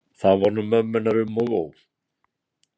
Þá var nú mömmu hennar um og ó.